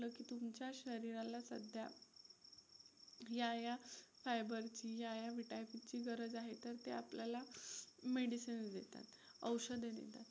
तुमच्या शरीराला सध्या या या fiber ची या या vitamins ची गरज आहे, तर ते आपल्याला medicines देतात, औषधं देतात.